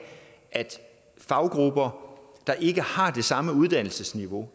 faggrupper der ikke har det samme uddannelsesniveau